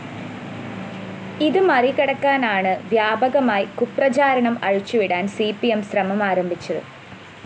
ഇത് മറികടക്കാനാണ് വ്യാപകമായി കുപ്രചാരണം അഴിച്ചുവിടാന്‍ സി പി എം ശ്രമം ആരംഭിച്ചത്